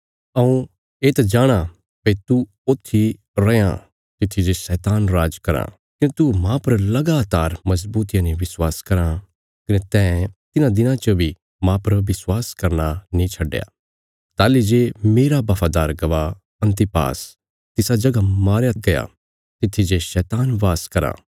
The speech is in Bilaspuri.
हऊँ येत जाणाँ भई तू ओत्थी रैआं तित्थी जे शैतान राज कराँ कने तू मांह पर लगातार मजबूतिया ने विश्वास कराँ कने तैं तिन्हां दिनां च बी मांह पर विश्वास करना नीं छड्डया ताहली जे मेरा बफादार गवाह अन्तिपास तिसा जगह मारया गया तित्थी जे शैतान वास कराँ